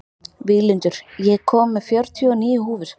Víglundur, ég kom með fjörutíu og níu húfur!